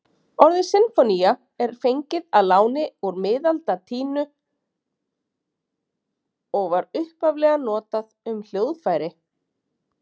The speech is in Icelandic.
Orðið sinfónía er fengið að láni úr miðaldalatínu og var upphaflega notað um hljóðfæri.